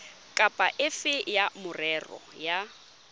kapa efe ya merero ya